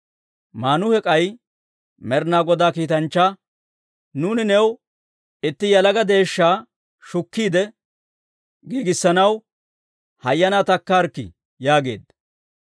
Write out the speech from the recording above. Maanuhe k'ay Med'inaa Godaa kiitanchchaa, «Nuuni new itti yalaga deeshshaa shukkiide giigissanaw, hayyanaa takkaarikkii» yaageedda.